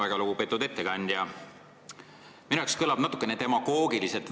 Väga lugupeetud ettekandja, minu jaoks kõlavad teie väited natukene demagoogiliselt.